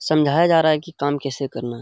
समझाया जा रहा है की काम कैसे करना।